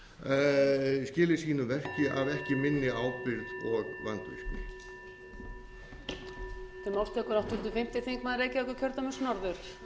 í skili sínu verki af ekki minni ábyrgð og vandvirkni